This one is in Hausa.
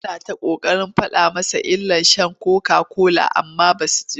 Yana ta ƙoƙarin faɗa musu illar sha kokakola amma ba sa ji.